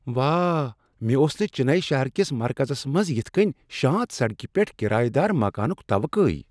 واہ! مےٚ اوس نہٕ چناے شہر کس مرکزس منٛز یتھ کٔنۍ شانت سڑکہ پیٹھ کرایہ دار مکانک توقع۔